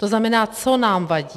To znamená, co nám vadí?